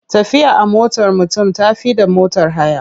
Tafiya a motar mutum ta fi da motar haya.